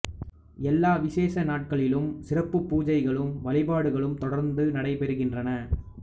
எல்லா விசேட நாட்களிலும் சிறப்பு பூசைகளும் வழிபாடுகளும் தொடர்ந்து நடைபெறுகின்றன